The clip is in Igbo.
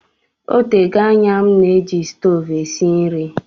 Ọ tego anya m na-eji stovu esi nri